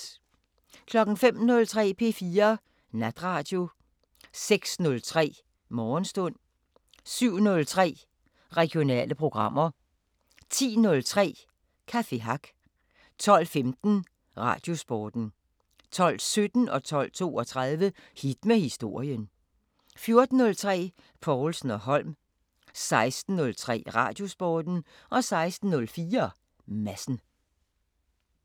05:03: P4 Natradio 06:03: Morgenstund 07:03: Regionale programmer 10:03: Café Hack 12:15: Radiosporten 12:17: Hit med historien 12:32: Hit med historien 14:03: Povlsen & Holm 16:03: Radiosporten 16:04: Madsen